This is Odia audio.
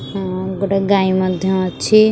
ଉଁ ଉଁ ଗୋଟେ ଗାଇ ମଧ୍ୟ ଅଛି।